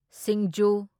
ꯁꯤꯡꯖꯨ